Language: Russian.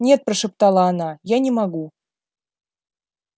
нет прошептала она я не могу